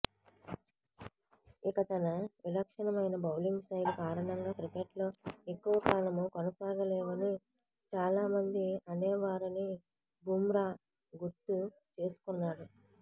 ఇక తన విలక్షణమైన బౌలింగ్ శైలి కారణంగా క్రికెట్లో ఎక్కువకాలం కొనసాగలేవని చాలామంది అనేవారని బుమ్రా గుర్తు చేసుకున్నాడు